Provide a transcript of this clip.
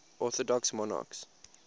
orthodox monarchs